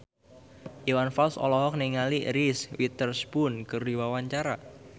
Iwan Fals olohok ningali Reese Witherspoon keur diwawancara